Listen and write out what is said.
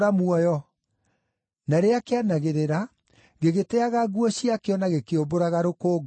Na rĩrĩa kĩanagĩrĩra gĩgĩteaga nguo ciakĩo na gĩkĩũmbũraga rũkũngũ,